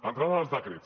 entrant en els decrets